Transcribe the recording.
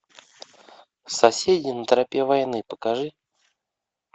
соседи на тропе войны покажи